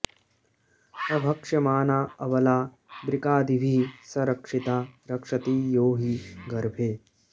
अभक्ष्यमाणा अबला वृकादिभिः स रक्षिता रक्षति यो हि गर्भे